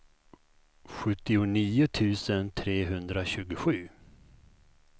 sjuttionio tusen trehundratjugosju